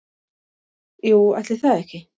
Jú, ætli það ekki